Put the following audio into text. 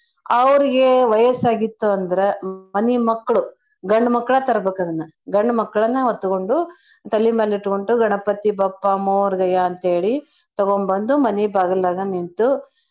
ಅವರ್ಗೆ ವಯಸ್ಸಾಗಿತ್ತು ಅಂದ್ರ ಮನಿ ಮಕ್ಳು ಗಂಡ್ಮಕ್ಳ ತರ್ಬೇಕದ್ನ. ಗಂಡ್ಮಕ್ಳನ ಹೊತ್ಕೊಂಡು ತಲಿಮ್ಯಾಲಿಟ್ಕೊಂಡು ಗಣಪತಿ ಬಪ್ಪ ಮೋರ್ಗಯಾ ಅಂತೇಳಿ ತಗೋಂಬಂದು ಮನಿ ಬಾಗಲ್ದಾಗ ನಿಂತು.